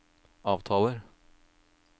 avtaler